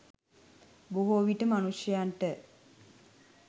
බොහෝවිට මනුෂ්‍යයන්ට